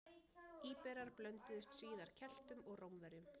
Íberar blönduðust síðar Keltum og Rómverjum.